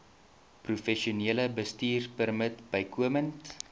professionele bestuurpermit bykomend